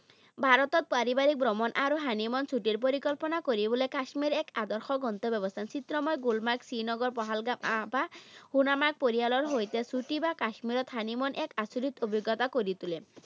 ভাৰতত পাৰিবাৰিক ভ্ৰমণ আৰু honeymoon ছুটী পৰিকল্পনা কৰিবলৈ কাশ্মীৰ এক আদৰ্শ গন্তব্যস্থান। চিত্ৰময় গুলমাৰ্গ, শ্ৰীনগৰ, পাহালগাম, সোনামাৰ্গ পৰিয়ালৰ সৈতে ছুটী বা কাশ্মীৰত honeymoon এক আচৰিত অভিজ্ঞতা কৰি তোলে।